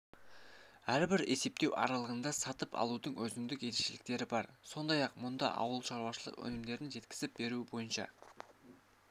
әрбір есептеу аралығында сатып алудың өзіндік ерекшеліктері бар сондай-ақ мұнда ауыл шаруашылық өнімдерін жеткізіп беру бойынша